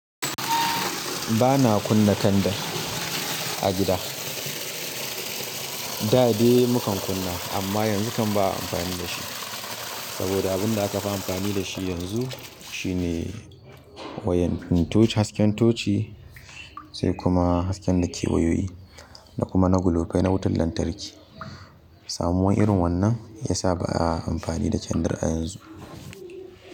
Ba na kunna kandar a gida. Da dai mu kan kunna amma yanzu kan ba a amfani da shi saboda abin da aka fi amfani da shi yanzu shine wayan toci, hasken toci sai kuma hasken dake wayoyi da kuma na gulofai na wutan lantarki. Samuwar irin wannan yasa ba'a amfani da kandir yanzu.